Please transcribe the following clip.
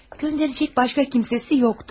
Göndərəcək başqa kimsəsi yoxdu.